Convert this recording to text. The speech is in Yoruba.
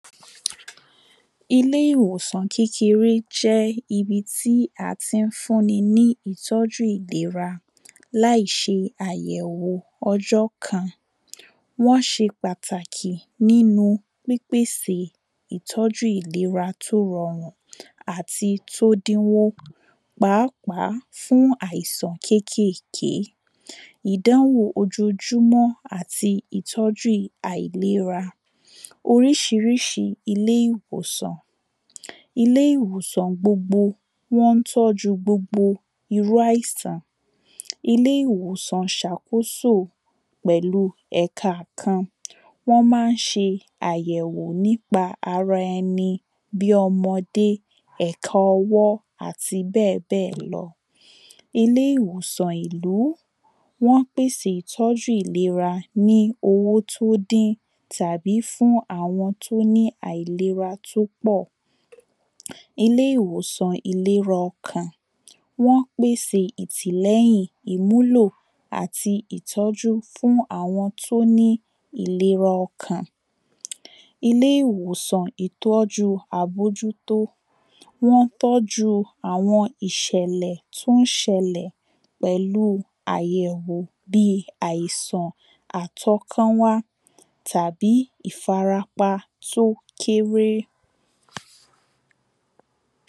Ilé ìwòsàn kékeré jẹ́ ibi tí à tí ń fún ni ní ìtọ́jú ìlera láì ṣe àyẹ̀wò ọjọ́ kan. Wọ́n ṣe pàtàkì nínu pípèsè ìtọ́jú ìlera tó rọrùn àti tó dínwó. Pàápàá fún àìsàn kékèké Ìdánwò ojojúmó̩ àti ìtọ́jú àìlera. Oríṣiríṣi ilé ìwòsàn. Ilé ìwòsàn gbogbo wọ́n ń tọ́jú gbogbo irú àìsàn. Ilé ìwòsàn sàkóso pẹ̀lu ẹ̀ka kan. Wọ́n má ń ṣe àyẹ̀wò nípa ara ẹni bí ọmọdé, ẹ̀tọ ọwọ́ àti bẹ́ẹ̀ bẹ́ẹ̀ lọ. Ilé ìwòsàn ìlú. Wọ́n pèsè ìtọ́jú ìlera ní owó tó dín tàbi fún àwọn tó ní àìlera tó pọ̀. Ilé ìwòsàn ìlera ọkàn. Wọ́n pèse ìtìlẹ́jìn, ìmúlò, àti ìtọ́jú fún àwọn tó ní ìlera ọkàn. Ilé ìwòsàn ìtọ́júu àbójútó. Wọ́n tọ́ju àwọn ìṣẹ̀lẹ̀ tó ń ṣẹlẹ̀. Pẹ̀lú àyẹ̀wò bi àìsàn àtọ́kán wá tàbí ìfarapa tó kéré.